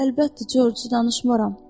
Əlbəttə Corc, danışmaram.